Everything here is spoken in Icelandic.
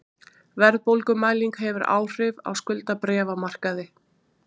Verðbólgumæling hefur áhrif á skuldabréfamarkaði